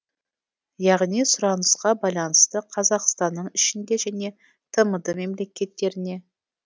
яғни сұранысқа байланысты қазақстанның ішінде және тмд мемлекеттеріне